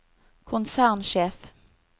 konsernsjef